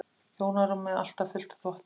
Hjónarúmið alltaf fullt af þvotti.